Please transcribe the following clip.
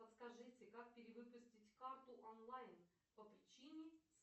подскажите как перевыпустить карту онлайн по причине